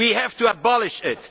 We have to abolish